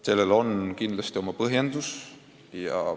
Sellel on kindlasti oma põhjused.